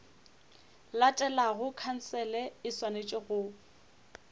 latelago khansele e swanetše go